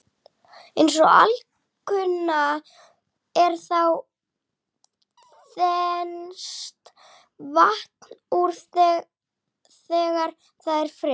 Eins og alkunna er þá þenst vatn út þegar það er fryst.